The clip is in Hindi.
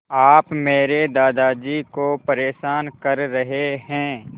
आप मेरे दादाजी को परेशान कर रहे हैं